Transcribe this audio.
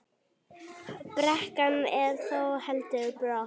Brekkan er þó heldur brött.